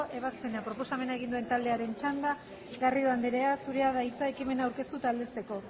ebazpena proposamena egin duen taldearen txanda garrido andrea zurea da hitza ekimena aurkeztu eta aldezteko